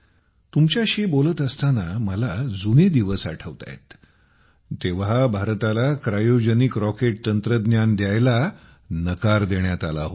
तुमच्याशी बोलत असताना मला जुने दिवस आठवत आहेत तेव्हा भारताला क्रायोजेनिक रॉकेट तंत्रज्ञान द्यायला नकार देण्यात आला होता